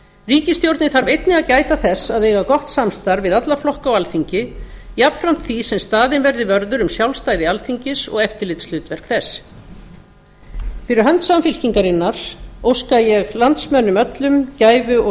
ríkisstjórnin þarf einnig að gæta þess að eiga gott samstarf við alla flokka á alþingi jafnframt því sem staðinn verði vörður um sjálfstæði alþingis og eftirlitshlutverk þess fyrir hönd samfylkingarinnar óska ég landsmönnum öllum gæfu og